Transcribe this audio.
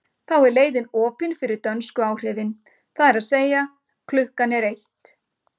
Þá er leiðin opin fyrir dönsku áhrifin, það er að segja að klukkan er eitt.